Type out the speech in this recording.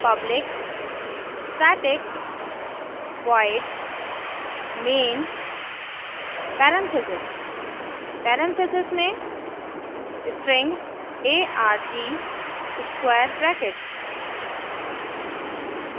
public static void main parentheses में parentheses string arg square brackets